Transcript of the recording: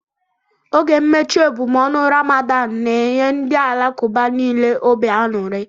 Oge mmechi ebumọọnụ Ramadan n'enye ndị Alakuba nile obi aṅụri